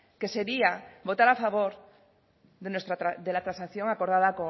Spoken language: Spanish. que sería votar a favor de la transacción acordada